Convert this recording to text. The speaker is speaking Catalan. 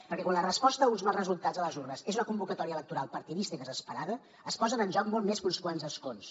perquè quan la resposta a uns mals resultats a les urnes és una convocatòria electoral partidista i desesperada es posen en joc molt més que uns quants escons